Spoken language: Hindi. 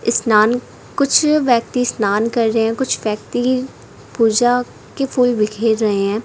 स्नान कुछ व्यक्ति स्नान कर रहे हैं कुछ व्यक्ति पूजा के फूल बिखेर रहे हैं।